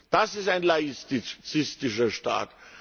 Das ist ein laizistischer Staat!